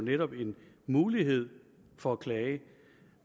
jo en mulighed for at klage